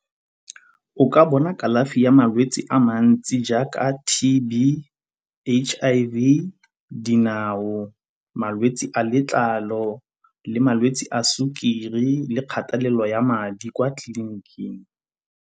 O ka bona kalafi ya malwetsi a mantsi jaaka T_B, H_I_V, dinao, malwetsi a letlalo le malwetsi a sukiri le kgatelelo ya madi kwa tleliniking.